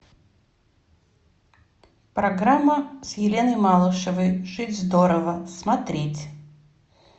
программа с еленой малышевой жить здорово смотреть